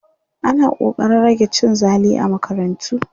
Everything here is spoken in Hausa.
ana ƙoƙarin rage cin zali a makarantu